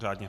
Řádně.